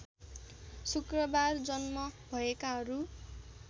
शुक्रबार जन्म भएकाहरू